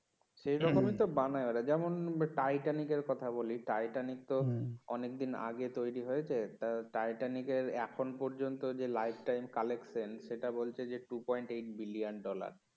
সেরকমই তো বানায় ওরা যেমন টাইটানিক এর কথা বলি টাইটেনিক তো অনেক দিন আগে তৈরি হয়েছে তা টাইটেনিক এর এখন পর্যন্ত যে life time collection সেটা বলছে যে two point eight billion dollar